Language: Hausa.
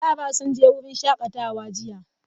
Yara sun je wurin shakatawa jiya.